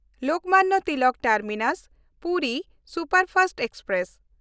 Lokmanya Tilak ᱴᱟᱨᱢᱤᱱᱟᱥ–ᱯᱩᱨᱤ superfast express